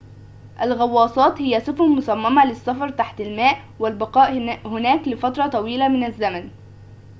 الغواصات هي سفن مصممة للسفر تحت الماء والبقاء هناك لفترة طويلة من الزمن